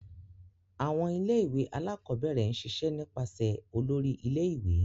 Awọn ilé-ìwé Alakọ̀bẹrẹ n ṣiṣe nipasẹ Òlóri ilé-ìwé